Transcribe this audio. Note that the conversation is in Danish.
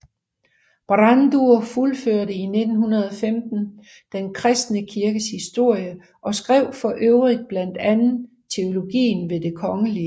Brandrud fuldførte 1915 Den kristne kirkes historie og skrev forøvrigt blandt andet Teologien ved det kgl